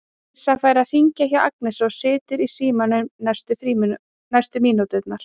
Dísa fær að hringja hjá Agnesi og situr í símanum næstu mínúturnar.